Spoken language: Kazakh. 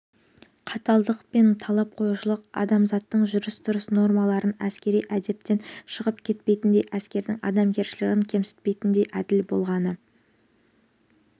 қаталдық пен талап қоюшылық азаматтық жүріс-тұрыс нормаларынан әскери әдептен шығып кетпейтіндей әскердің адамгершілігін кемсітпейтіндей әділ болғаны